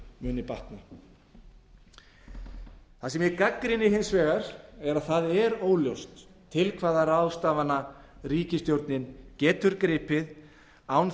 muni batna það sem ég gagnrýni hins vegar er að það er óljóst til hvaða ráðstafana ríkisstjórnin getur gripið án þess